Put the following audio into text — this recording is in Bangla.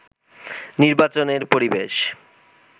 নির্বাচনের পরিবেশ